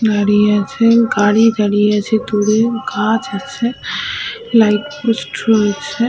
দাঁড়িয়ে আছে গাড়ি দাঁড়িয়ে আছে দূরে গাছ আছে লাইট --